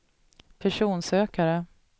personsökare